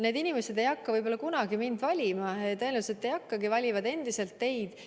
Need inimesed ei hakka kunagi mind valima, tõenäoliselt ei hakka, nad valivad endiselt teid.